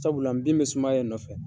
Sabula nbin bɛ sumaya in nɔ fɛ